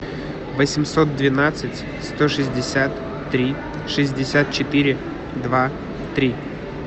восемьсот двенадцать сто шестьдесят три шестьдесят четыре два три